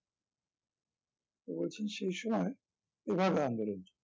তো বলছেন সেই সময় তেভাগা আন্দোলন